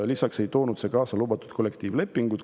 Lisaks ei toonud see kaasa lubatud kollektiivlepingut.